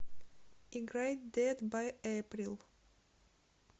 играй дэд бай эйприл